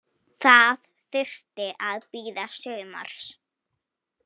Það þurfti að bíða sumars.